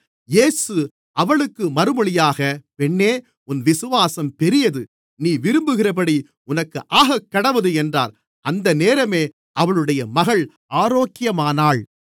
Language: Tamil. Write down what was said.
இயேசு அவளுக்கு மறுமொழியாக பெண்ணே உன் விசுவாசம் பெரியது நீ விரும்புகிறபடி உனக்கு ஆகக்கடவது என்றார் அந்த நேரமே அவளுடைய மகள் ஆரோக்கியமானாள்